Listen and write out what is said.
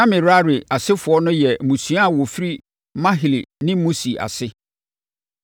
Na Merari asefoɔ no yɛ mmusua a wɔfiri Mahli ne Musi ase.